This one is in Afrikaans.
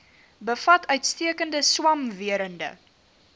bevat uitstekende swamwerende